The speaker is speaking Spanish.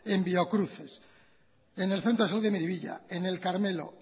en biocruces en el centro de salud de miribilla en el carmelo